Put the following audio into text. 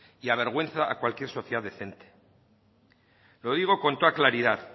y avergüenza a cualquier sociedad decente lo digo con toda claridad